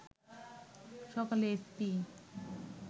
সকালে এসপি